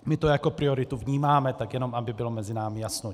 My to jako prioritu vnímáme, tak jenom aby bylo mezi námi jasno.